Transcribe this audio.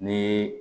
Ni